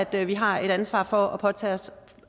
vi har et ansvar for at påtage os